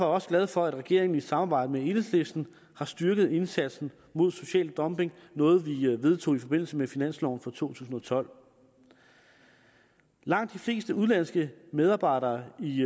også glad for at regeringen i samarbejde med enhedslisten har styrket indsatsen mod social dumping noget vi vedtog i forbindelse med finansloven for to tusind og tolv langt de fleste udenlandske medarbejdere i